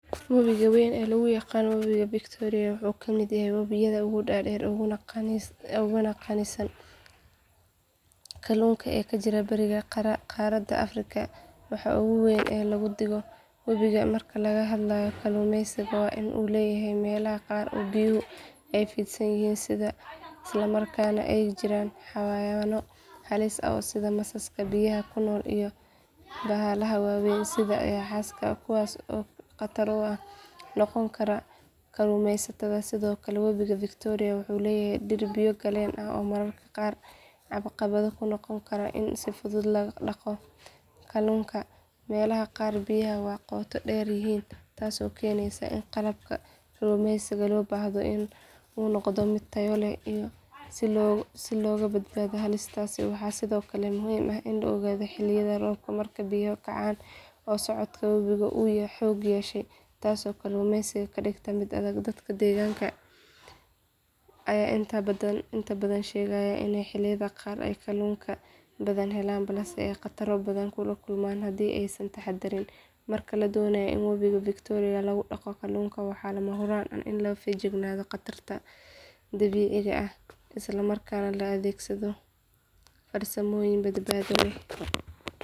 Wabiga wayn ee loo yaqaan wabiga victoria wuxuu ka mid yahay wabiyada ugu dheer uguna qaniisan kalluunka ee ka jira bariga qaaradda afrika. Waxa ugu weyn ee lagu digo wabigan marka laga hadlayo kalluumeysiga waa in uu leeyahay meelaha qaar oo biyuhu aad u fidsan yihiin isla markaana ay ku jiraan xayawaanno halis ah sida masaska biyaha ku nool iyo bahalaha waaweyn sida yaxaaska kuwaas oo khatar ku noqon kara kalluumeysatada. Sidoo kale wabiga victoria wuxuu leeyahay dhir biyo galeen ah oo mararka qaar caqabad ku noqon kara in si fudud lagu daqo kalluunka. Meelaha qaar biyaha waa qoto dheer yihiin taas oo keenaysa in qalabka kalluumeysiga loo baahdo uu noqdo mid tayo leh si looga badbaado halistaas. Waxaa sidoo kale muhiim ah in la ogaado xilliyada roobka marka biyuhu kacaan oo socodka wabigu aad u xoog yeesho taasoo kalluumeysiga ka dhigta mid adag. Dadka deegaanka ayaa inta badan sheegaya in xilliyada qaar ay kalluun badan helaan balse ay khataro badan la kulmaan haddii aysan taxaddarin. Marka la doonayo in wabiga victoria lagu daqo kalluunka waxaa lama huraan ah in laga feejignaado khataraha dabiiciga ah isla markaana la adeegsado farsamooyin badbaado leh.